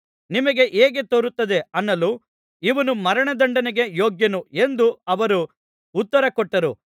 ನಿಮಗೆ ಹೇಗೆ ತೋರುತ್ತದೆ ಅನ್ನಲು ಇವನು ಮರಣದಂಡನೆಗೆ ಯೋಗ್ಯನು ಎಂದು ಅವರು ಉತ್ತರಕೊಟ್ಟರು